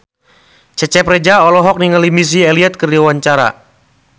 Cecep Reza olohok ningali Missy Elliott keur diwawancara